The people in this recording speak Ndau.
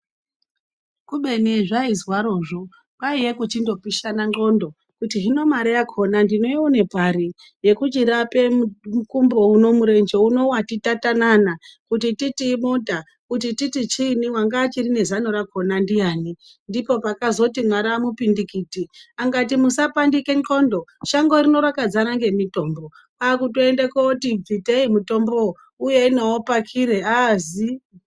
Kubeni zvaizwarozvo kwaiya kupishana ndxondo kuti hino mare yakona ndinoiwone pari yekuchirape murenje uno mukumbo wati tatanana kuti titi inota kuti titi chiini wanga achiri nezano rakona ndian. Ndipo patakazori Mwaramu pindikuti Akati musapandike ndxondo shango rino rakadzara memitombo. Kwakutoende koti bvitei uyei nawo pakiro azii.